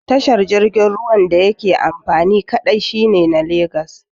Tashar jirgin ruwan da yake amfani kaɗai shine na Lagos